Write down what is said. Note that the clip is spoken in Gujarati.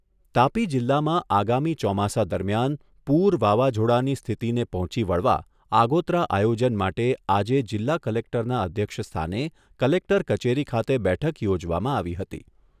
તાપી જિલ્લામાં આગામી ચોમાસા દરમિયાન પૂર વાવાઝોડાની સ્થિતિને પહોંચી વળવા આગોતરા આયોજન માટે આજે જિલ્લા કલેક્ટરના અધ્યક્ષસ્થાને કલેક્ટર કચેરી ખાતે બેઠક યોજવામાં આવી હતી.